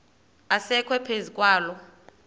asekwe phezu kwaloo